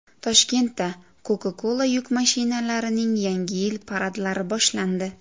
Toshkentda Coca-Cola yuk mashinalarining Yangi yil paradlari boshlandi.